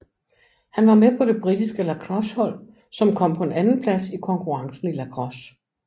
Han var med på det britiske lacrossehold som kom på en andenplads i konkurrencen i lacrosse